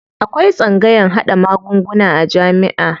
Akwai tsangayan haɗa magunguna a jamiʼa.